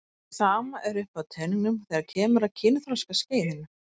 Sama er uppi á teningnum þegar kemur að kynþroskaskeiðinu.